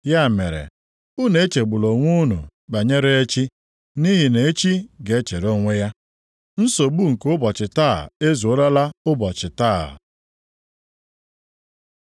Ya mere, unu echegbula onwe unu banyere echi, nʼihi na echi ga-echere onwe ya. Nsogbu nke ụbọchị taa ezuorola ụbọchị taa.